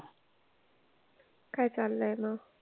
काय चाललंय मग?